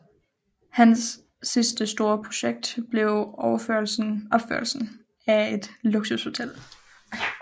Hans sidste store projekt blev opførelsen af et luksushotel